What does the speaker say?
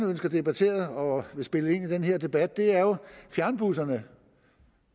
ønsker debatteret og vil spille ind i den her debat det er jo fjernbusserne